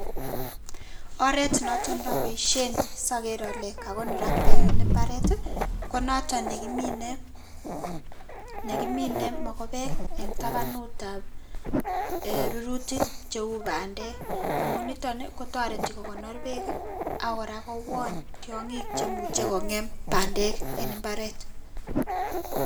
Oreet noton noboishen soker olee kakonorak beek en imbaret konoton nekimine, nekimine mokobek en tabanutab rurutik cheuu bandek amun niton i kotoreti kokonor beek akora kowon tiong'ik chemuche kong'em bandek en imbaret.